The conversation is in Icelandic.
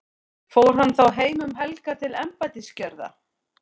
fór hann þá heim um helgar til embættisgjörða